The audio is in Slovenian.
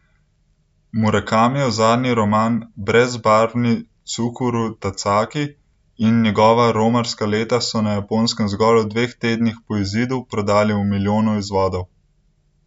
Murakamijev zadnji roman Brezbarvni Cukuru Tazaki in njegova romarska leta so na Japonskem v zgolj dveh tednih po izidu prodali v milijonu izvodov.